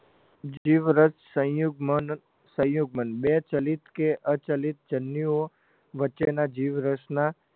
જીવરસ સંયુગ્મન સંયુગ્મન બે ચલિત કે અચલિત જનનીઓ વચ્ચેના જીવરસના